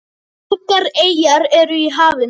Margar eyjar eru í hafinu.